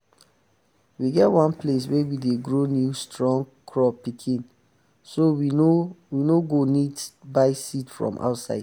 we get one place wey we dey grow new strong crop pikin so we no no go need buy seed from outside.